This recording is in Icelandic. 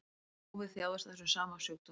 Páfi þjáðist af þessum sama sjúkdómi